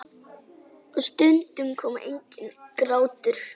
Og stundum kom enginn grátur.